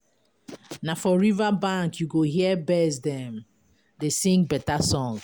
Na for riverbank you go hear birds dem dey sing better song.